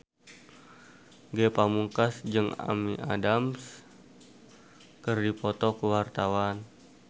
Ge Pamungkas jeung Amy Adams keur dipoto ku wartawan